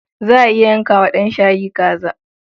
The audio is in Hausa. Za a iya yanka wa ɗan shayi kaza.